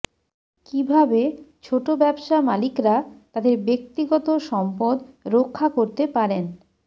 কিভাবে ছোট ব্যবসা মালিকরা তাদের ব্যক্তিগত সম্পদ রক্ষা করতে পারেন